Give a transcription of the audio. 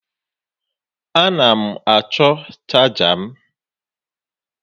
A na m achọ chaja m